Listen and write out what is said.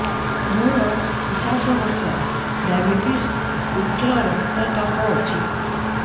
ମୋର ପଚାଶ ବର୍ଷ ଡାଏବେଟିସ ଉଚ୍ଚ ରକ୍ତ ଚାପ ଅଛି